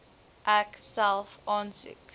ek self aansoek